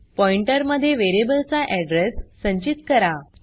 pointer मध्ये variable चा address संचित करा